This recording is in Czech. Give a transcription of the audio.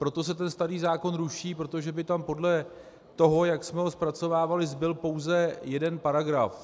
Proto se ten starý zákon ruší, protože by tam podle toho, jak jsme ho zpracovávali, zbyl pouze jeden paragraf.